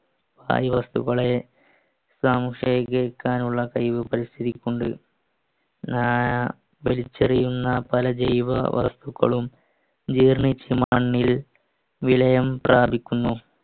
വായു വസ്തുക്കളെ സംശയിക്കാനുള്ള കഴിവ് പരിസ്ഥിതിക്കുണ്ട് ഏർ വലിച്ചെറിയുന്ന പല ജൈവ വസ്തുക്കളും ജീർണിച്ച് മണ്ണിൽ വിലയം പ്രാപിക്കുന്നു